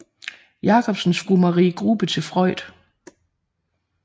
Jacobsens Fru Marie Grubbe til Freud